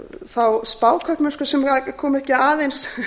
þá spákaupmennsku sem kom ekki aðeins